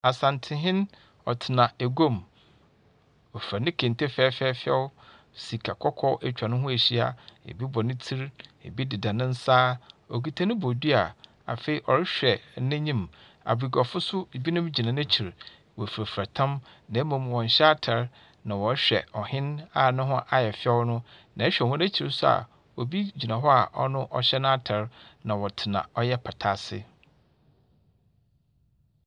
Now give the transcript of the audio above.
Asantehen, ɔtsena eguam. Ɔfura ne kente fɛɛfɛɛfɛw. Sika kɔkɔɔ atwa ne ho ahyia. Ebi bɔ ne tsir, ebi deda ne nsa, ɔkuta ne bodua. Afei ɔrehwɛ n'enyim. Abaguafo nso ebinom gyina n'ekyir. Wɔfurafura tam, na mmom wɔnhyɛ atar na wɔrehwɛ ɔhen no a ne ho ayɛ fɛw no, na ɛhwɛ hɔn ekyir nso a obi gyina hɔ a ɔno ɔhyɛ n'atar, na ɔtsena ɔyɛ pata ase.